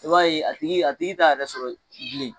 I b'a ye a tigi a tigi t'a yɛrɛ sɔrɔ bilen.